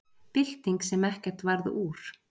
Bylting sem ekkert varð úr